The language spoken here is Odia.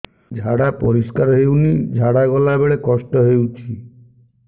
ଝାଡା ପରିସ୍କାର ହେଉନି ଝାଡ଼ା ଗଲା ବେଳେ କଷ୍ଟ ହେଉଚି